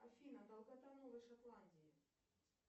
афина долгота новой шотландии